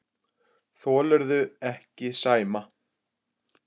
Þolirðu ekki Sæma?